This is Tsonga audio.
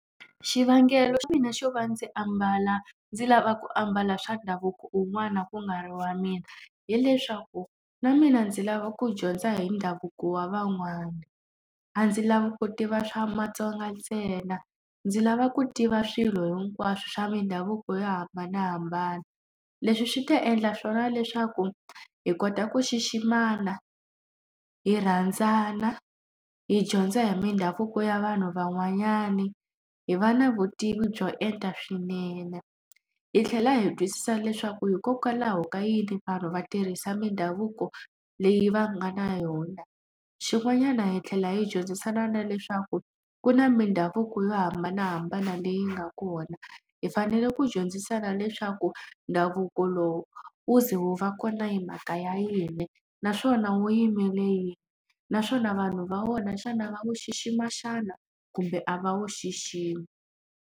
Xivangelo xa mina xo va ndzi ambala ndzi lava ku ambala swa ndhavuko wun'wana ku nga ri wa mina, hileswaku na mina ndzi lava ku dyondza hi ndhavuko wa van'wana. A ndzi lava ku tiva swa maTsonga ntsena, ndzi lava ku tiva swilo hinkwaswo swa mindhavuko yo hambanahambana. Leswi swi ta endla swona leswaku hi kota ku xiximana, hi rhandzana, hi dyondza hi mindhavuko ya vanhu van'wanyani, hi va na vutivi byo enta swinene, hi tlhela hi twisisa leswaku hikokwalaho ka yini vanhu va tirhisa mindhavuko leyi va nga na yona. Xin'wanyana hi tlhela hi dyondzisana na leswaku ku na mindhavuko yo hambanahambana leyi nga kona. Hi fanele ku dyondzisana leswaku ndhavuko lowu wu ze wu va kona hi mhaka ya yini, aswona wu yimele yini. Naswona vanhu va wona xana va wu xixima xana kumbe a va wu xiximi.